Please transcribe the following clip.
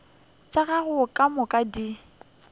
tša gago ka moka di